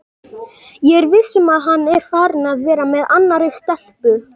Ég er viss um að hann er farinn að vera með annarri stelpu.